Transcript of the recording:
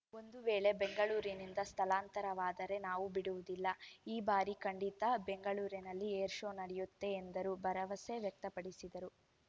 ಒಂದು ವೇಳೆ ಬೆಂಗಳೂರಿನಿಂದ ಸ್ಥಳಾಂತರವಾದರೆ ನಾವು ಬಿಡುವುದಿಲ್ಲ ಈ ಬಾರಿ ಖಂಡಿತ ಬೆಂಗಳೂರಿನಲ್ಲಿ ಏರ್‌ ಶೋ ನಡೆಯುತ್ತೆ ಎಂದರು ಭರವಸೆ ವ್ಯಕ್ತಪಡಿಸಿದರು